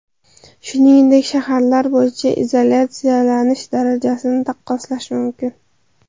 Shuningdek, shaharlar bo‘yicha izolyatsiyalanish darajasini taqqoslash mumkin.